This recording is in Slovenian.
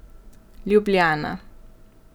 Ljubljana.